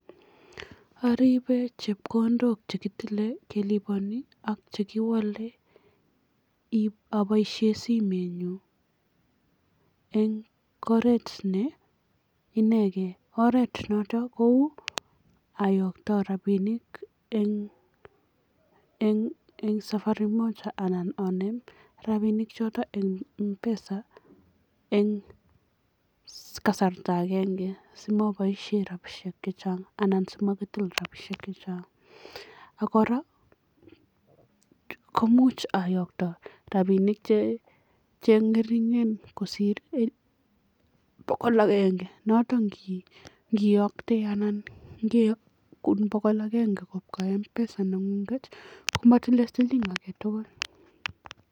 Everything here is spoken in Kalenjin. Aripe chepkondok che kitile kelipani ak chekiwale apoishe simenyu eng oret ne inekei, oret noto kou, ayokto rapinik eng safari moja anan aneem rapinik choto eng Mpesa eng kasarta agenge simoboishe rapishek chechang anan si makitil rapinik chechang ak kora komuch ayokto rapinik che ngeringen kosiir bokol agenge, notok ngiyokte anan keyokun bokol agenge kobwa Mpesa nengunget komatilei siling alak tugul.